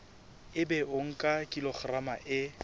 ebe o nka kilograma e